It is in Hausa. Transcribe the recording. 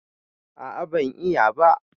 A'a ban yi ba.